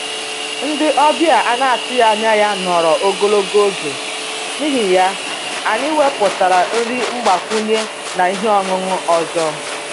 Ndị ọbịa a na-atụghị anya ya nọrọ ogologo oge, n'ihi ya, anyị wepụtara nri mgbakwunye na ihe ọṅụṅụ ọzọ